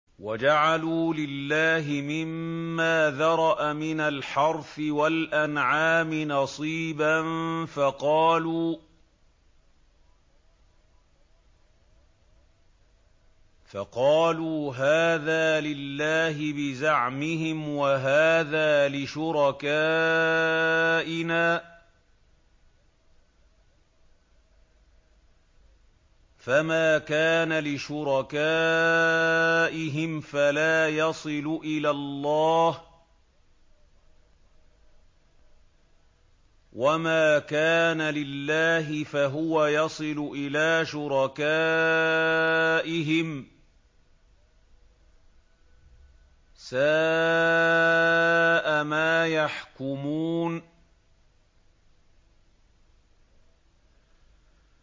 وَجَعَلُوا لِلَّهِ مِمَّا ذَرَأَ مِنَ الْحَرْثِ وَالْأَنْعَامِ نَصِيبًا فَقَالُوا هَٰذَا لِلَّهِ بِزَعْمِهِمْ وَهَٰذَا لِشُرَكَائِنَا ۖ فَمَا كَانَ لِشُرَكَائِهِمْ فَلَا يَصِلُ إِلَى اللَّهِ ۖ وَمَا كَانَ لِلَّهِ فَهُوَ يَصِلُ إِلَىٰ شُرَكَائِهِمْ ۗ سَاءَ مَا يَحْكُمُونَ